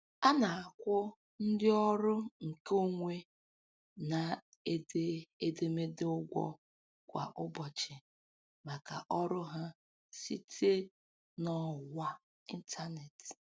A na-akwụ ndị ọrụ nke onwe na-ede edemede ụgwọ kwa ụbọchị maka ọrụ ha site n'ọwa ịntaneetị.